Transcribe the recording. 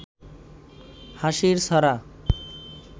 হাসির ছড়া